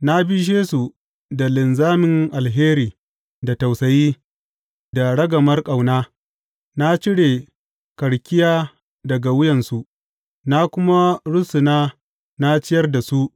Na bishe su da linzamin alheri da tausayi, da ragamar ƙauna; Na cire karkiya daga wuyansu na kuma rusuna na ciyar da su.